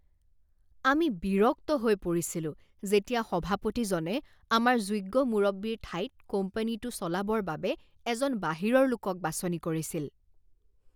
আমি বিৰক্ত হৈ পৰিছিলো যেতিয়া সভাপতিজনে আমাৰ যোগ্য মুৰব্বীৰ ঠাইত কোম্পানীটো চলাবৰ বাবে এজন বাহিৰৰ লোকক বাছনি কৰিছিল।